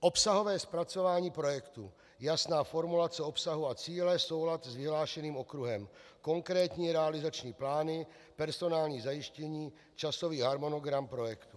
Obsahové zpracování projektu, jasná formulace obsahu a cíle, soulad s vyhlášeným okruhem, konkrétní realizační plány, personální zajištění, časový harmonogram projektu.